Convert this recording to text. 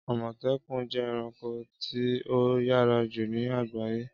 Ámọtẹkun jẹ ẹranko ti o yara ju ni agbaye.